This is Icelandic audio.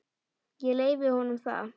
Ég leyfi honum það.